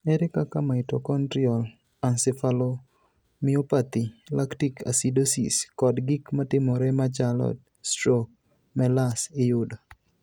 Ere kaka mitochondrial encephalomyopathy, lactic acidosis, kod gik matimore machalo strok (MELAS) iyudo?